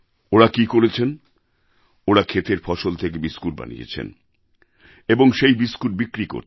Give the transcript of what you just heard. ওঁরা কি করেছেন ওঁরা ক্ষেতের ফসল থেকে বিস্কুট বানিয়েছেন এবং সেই বিস্কুট বিক্রি করছেন